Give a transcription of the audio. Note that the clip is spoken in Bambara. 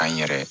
An yɛrɛ